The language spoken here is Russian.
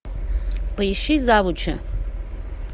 поищи завуча